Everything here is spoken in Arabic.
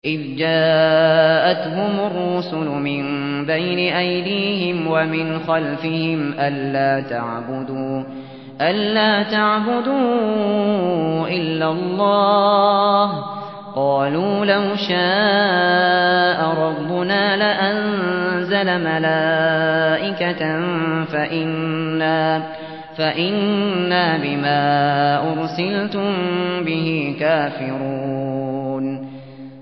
إِذْ جَاءَتْهُمُ الرُّسُلُ مِن بَيْنِ أَيْدِيهِمْ وَمِنْ خَلْفِهِمْ أَلَّا تَعْبُدُوا إِلَّا اللَّهَ ۖ قَالُوا لَوْ شَاءَ رَبُّنَا لَأَنزَلَ مَلَائِكَةً فَإِنَّا بِمَا أُرْسِلْتُم بِهِ كَافِرُونَ